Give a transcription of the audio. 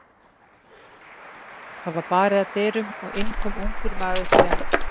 Það var barið að dyrum og inn kom ungur maður, sem